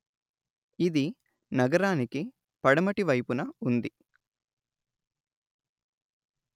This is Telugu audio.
ఇది నగరానికి పడమటి వైపున ఉంది